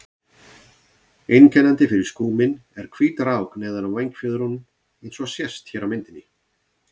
Einkennandi fyrir skúminn er hvít rák neðan á vængfjöðrum eins og sést hér á myndinni.